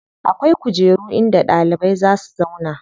Akwai kujera in da ɗalibai za si zauna.